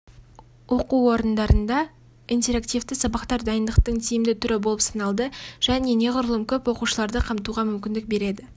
оқу орындарында интерактивті сабақтар дайындықтың тиімді түрі болып саналады және неғұрлым көп оқушыларды қамтуға мүмкіндік береді